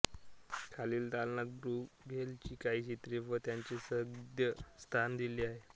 खालील दालनात ब्रूघेलची काही चित्रे व त्यांचे सद्य स्थान दिले आहेत